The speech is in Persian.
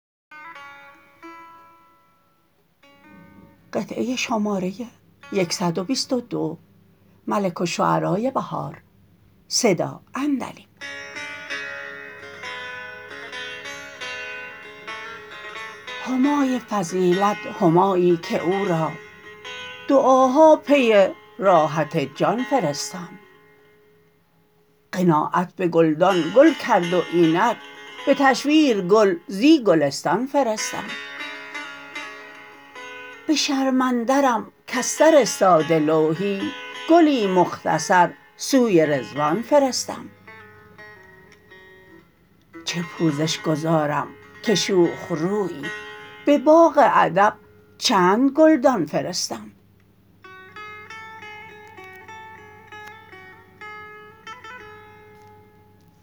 همای فضیلت همایی که او را دعاها پی راحت جان فرستم قناعت به گلدان گل کرد و اینک به تشویر گل زی گلستان فرستم به شرم اندرم کز سر ساده لوحی گلی مختصر سوی رضوان فرستم چه پوزش گزارم که شوخ رویی به باغ ادب چند گلدان فرستم